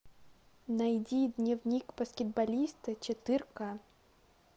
найди дневник баскетболиста четыре ка